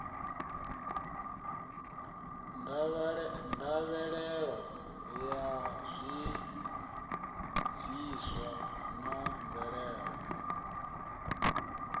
ndavhelelo ya zwibviswa na mvelelo